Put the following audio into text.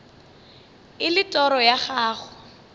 e le toro ya gago